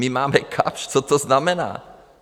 My máme Kapsch, co to znamená?